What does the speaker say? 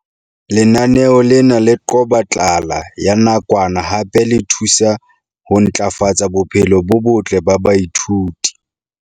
Lenaneo lena le qoba tlala ya nakwana hape le thusa ho ntlafatsa bophelo bo botle ba baithuti.